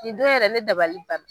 Nin don yɛrɛ ne dabali banna.